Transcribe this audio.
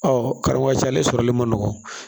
Ɔ kalan ka ca ale sɔrɔli man nɔgɔ